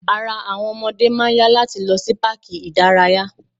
Ara àwọn ọmọdé máà ń yá láti lọ sí páàkì ìdárayá.